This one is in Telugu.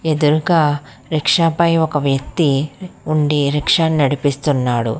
ఎదురుగా రిక్ష పై ఒక వ్యక్తి ఉండి రిక్ష ని నడిపిస్తున్నాడు.